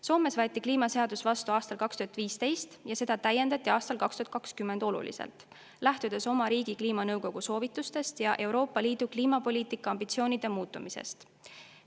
Soomes võeti kliimaseadus vastu aastal 2015 ja seda täiendati aastal 2020 oluliselt, lähtudes oma riigi kliimanõukogu soovitustest ja Euroopa Liidu kliimapoliitika ambitsioonide muutumisest.